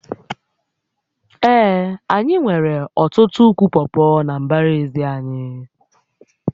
Ee, anyị nwere ọtụtụ ụkwụ pọpọ na mbara ezi anyị